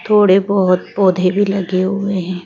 थोड़े बहुत पौधे भी लगे हुए हैं।